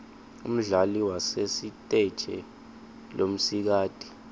umdlali wasesiteje lomsikati